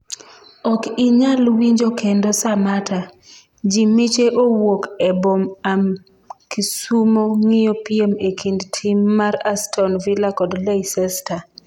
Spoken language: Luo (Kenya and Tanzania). ok inyal winjo kendo Samatta: jii miche owuok e bom am Kisumo ng'iyo piem e kind tim mar aston villa kod leicester